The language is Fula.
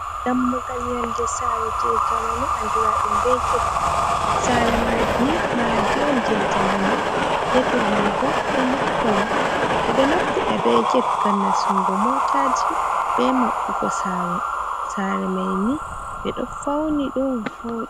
Dammugal yonde saare, je jamaanu andiraɗum be get, saare maadi ni maadi on je jamanu, get wa mai bo milit kolo, ɓe ɗo naftira be get ngm nastungo mootaji, be maɓɓugo saare mai ni ɓe ɗo fauni ɗum vooɗi.